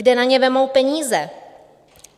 Kde na ně vezmou peníze?